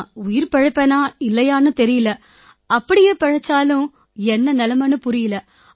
நான் உயிர் பிழைப்பேனா இல்லையான்னே தெரியலை அப்படியே பிழைச்சாலும் என்ன நிலைமைன்னு புரியலை